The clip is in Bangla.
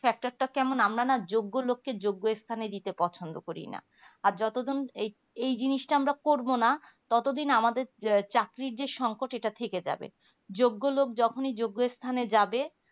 sector টা কেমন আমরা না যোগ্য লোককে যোগ্য স্থানে দিতে পছন্দ করি না আর যতদিন এই জিনিসটা আমরা করবো না ততদিন আমাদের চাকরির যে সংকট এটা থেকে যাবে যোগ্য লোক যখনি যোগ্য স্থানে যাবে